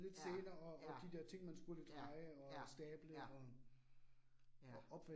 Ja ja, ja ja ja. Ja